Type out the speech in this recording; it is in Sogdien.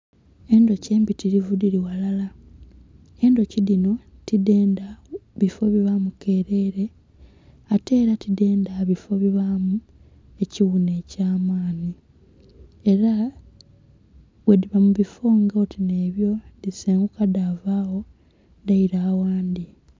Endhuki embitilivu dhili ghalala, enhuki dhinho tidhendha bifo bilimu kelele, atela tudhendha bifo bibaamu ekighunha ekya maanhi. Ela bwedhiba mu bifo nga oti nheebyo dhisenguka dhavaagho, daila aghandhi.